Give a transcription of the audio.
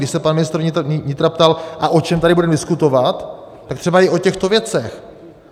Když se pan ministr vnitra ptal "a o čem tady budeme diskutovat?", tak třeba i o těchto věcech.